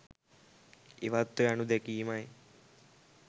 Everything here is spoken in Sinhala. ඉවත්ව යනු දැකීමයි.